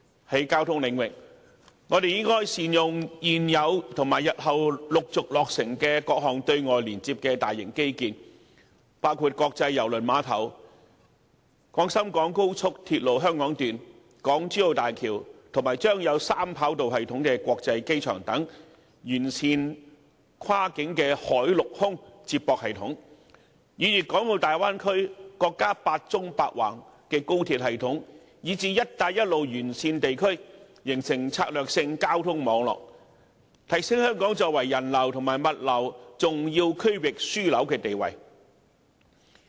在交通領域，我們應善用現有及日後陸續落成的各項對外連接的大型機建，包括國際郵輪碼頭、廣深港高速鐵路香港段、港珠澳大橋及將有三跑道系統的國際機場，完善跨境海陸空接駁系統，以粵港澳大灣區、國家"八縱八橫"高鐵系統，以至"一帶一路"沿線地區，形成策略交通網絡，提升香港作為人流和物流重要區域樞紐的地位。